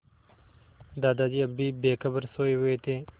दादाजी अब भी बेखबर सोये हुए थे